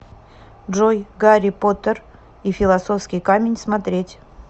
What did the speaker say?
джой гарри потер и филосовский камень смотреть